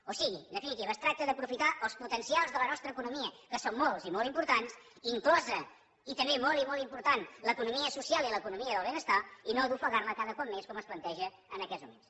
o sigui en definitiva es tracta d’aprofitar els potencials de la nostra economia que són molts i molt importants inclosa i també molt i molt important l’economia social i l’economia del benestar i no d’ofegar la cada cop més com es planteja en aquests moments